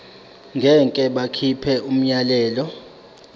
ngeke bakhipha umyalelo